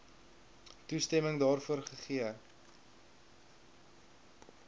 toestemming daarvoor gegee